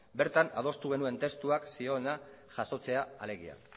bertan adostu genuen testuak zihoena jasotzea alegia